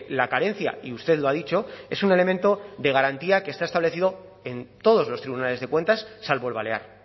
la carencia y usted lo ha dicho es un elemento de garantía que está establecido en todos los tribunales de cuentas salvo el balear